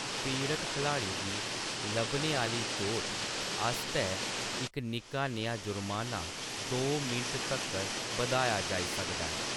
पीड़त खलाड़ी गी लब्भने आह्‌‌ली चोट आस्तै इक निक्का नेहा जुर्माना दो मिंट तगर बधाया जाई सकदा ऐ।